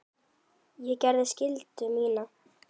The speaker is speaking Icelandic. Ég gerði skyldu mína.